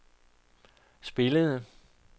spillede